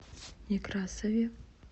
некрасове